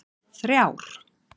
þrjár